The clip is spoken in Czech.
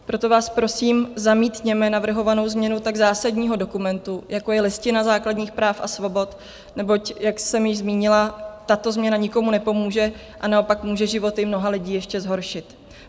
Proto vás prosím, zamítněme navrhovanou změnu tak zásadního dokumentu, jako je Listina základních práv a svobod, neboť jak jsem již zmínila, tato změna nikomu nepomůže a naopak může životy mnoha lidí ještě zhoršit.